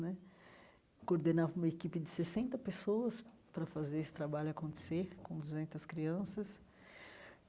Né coordenava uma equipe de sessenta pessoas para fazer esse trabalho acontecer, com duzentas crianças.